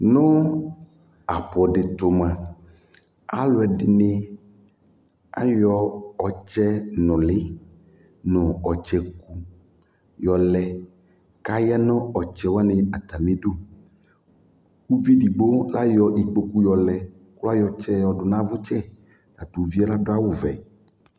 Nʋ apʋ dɩ tʋ mʋa, alʋ ɛdɩnɩ ayɔ ɔtsɛnʋlɩ nʋ ɔtsɛku yɔlɛ kʋ aya nʋ ɔtsɛ wanɩ atamɩdu Uvi edigbo ayɔ kpoku yɔlɛ kʋ ayɔ ɔtsɛ yɔdʋ nʋ avʋtsɛ Ɔta tʋ uvi yɛ adʋ awʋvɛ